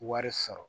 Wari sɔrɔ